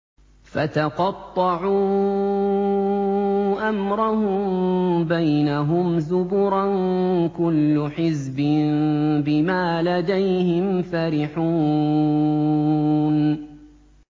فَتَقَطَّعُوا أَمْرَهُم بَيْنَهُمْ زُبُرًا ۖ كُلُّ حِزْبٍ بِمَا لَدَيْهِمْ فَرِحُونَ